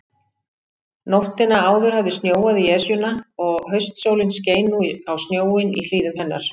Nóttina áður hafði snjóað í Esjuna, og haustsólin skein nú á snjóinn í hlíðum hennar.